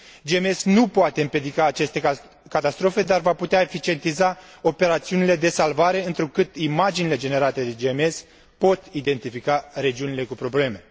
GMES nu poate împiedica aceste catastrofe, dar va putea eficientiza operațiunile de salvare, întrucât imaginile generate de GMES pot identifica regiunile cu probleme.